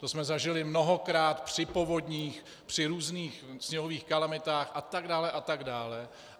To jsme zažili mnohokrát při povodních, při různých sněhových kalamitách a tak dále, a tak dále.